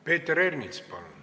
Peeter Ernits, palun!